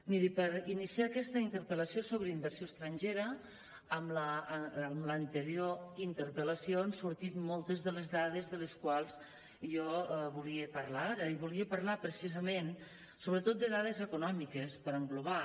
miri per iniciar aquesta interpel·lació sobre inversió estrangera en l’anterior interpel·lació han sortit moltes de les dades de les quals jo volia parlar ara i volia parlar precisament sobretot de dades econòmiques per englobar